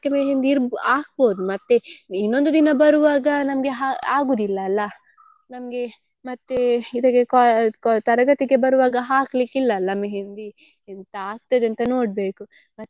मेहंदी ಇರ್~ ಹಾಕ್ಬೋದು ಮತ್ತೆ ಇನ್ನೊಂದು ದಿನ ಬರುವಾಗ ನಮ್ಗೆ ಹ~ ಆಗುದಿಲ್ಲ ಅಲ್ಲ ನಮ್ಗೆ ಮತ್ತೇ ಇದಕ್ಕೆ co~ co~ ತರಗತಿಗೆ ಬರುವಾಗ ಹಾಕ್ಲಿಕ್ಕಿಲ್ಲಲ್ಲ मेहंदी ಎಂತ ಆಗ್ತದೆ ಅಂತ ನೋಡ್ಬೇಕು.